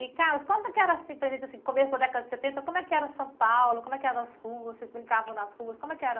E, Carlos, conta o que era, assim, para a gente, assim, começo da década de setenta, como é que era São Paulo, como é que eram as ruas, vocês brincavam nas ruas, como é que era?